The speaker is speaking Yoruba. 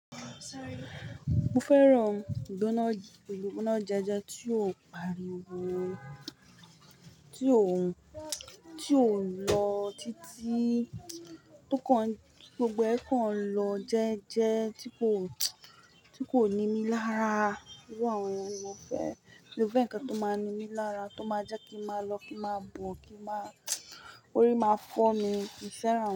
Mo fẹ́ràn ìgbóná, ìgbóná jeje tí ó pariwo, tí ó, tí ó ń lọ títí, tó kàn, gbogbo ẹ̀ kàn lọ jẹ́ẹ́jẹ́ tí kò, tí kò ní mí lára. Iru àwọn yen ni mo fẹ́, mi o fẹ́ ǹkan tó máa ní mí lára, tó máa jẹ́ kí màá lọ, kí màá bọ̀, kí màá, orí máa fọ́ mi, mì í fẹ́ràn.